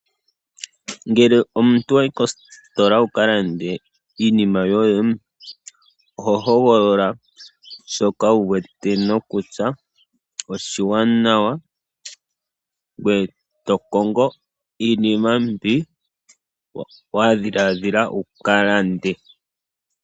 Ngele omuntu wayi kositola wuka lande iinima yoye oho hogolola shoka wu wete nokutya oshiwanawa ngoye to kongo iinima mbi wa dhiladhila wu ka lande.